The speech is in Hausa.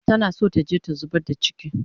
Tana so taje ta zubar da chiki